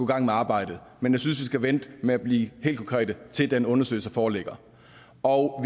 gang med arbejdet men jeg synes vi skal vente med at blive helt konkrete til den undersøgelse foreligger og